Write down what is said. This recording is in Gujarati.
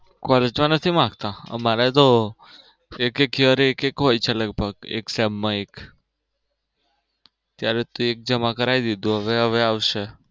college માં નથી માંગતા અમારે તો એક એક year એક એક હોય છે લગભગ એક sem માં એક ત્યારે એક જમા કરાવી દીધું હવે હવે આવશે.